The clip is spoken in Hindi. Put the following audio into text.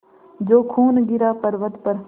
जो खून गिरा पवर्अत पर